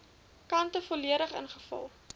kante volledig ingevul